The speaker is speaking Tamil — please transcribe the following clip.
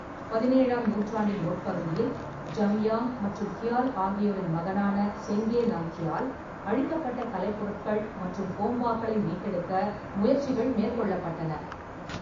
பதினேழாம் நூற்றாண்டின் முற்பகுதியில், ஜம்யாங் மற்றும் கியால் ஆகியோரின் மகனான செங்கே நாம்க்யால் அழிக்கப்பட்ட கலைப்பொருட்கள் மற்றும் கோம்பாக்களை மீட்டெடுக்க முயற்சிகள் மேற்கொள்ளப்பட்டன.